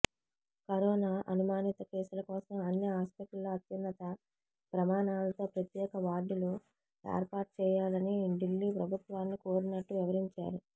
corona అనుమానిత కేసుల కోసం అన్ని హాస్పిటల్స్లో అత్యున్నత ప్రమాణాలతో ప్రత్యేక వార్డులు ఏర్పాటుచేయాలని ఢిల్లీ ప్రభుత్వాన్ని కోరినట్టు వివరించారు